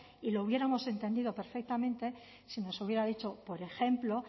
y lo hubiéramos entendido perfectamente si nos hubiera dicho por ejemplo